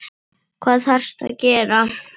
Hvað þarftu að gera?